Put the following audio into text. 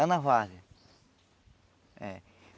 Lá na. É.